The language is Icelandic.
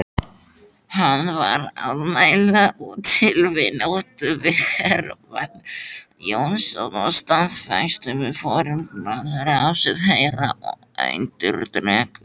Hann var að mæla til vináttu við Hermann Jónasson og staðfesta við forsætisráðherra og erindreka